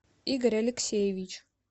игорь алексеевич